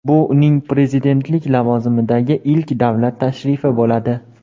Bu uning prezidentlik lavozimidagi ilk davlat tashrifi bo‘ladi.